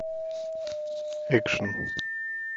экшен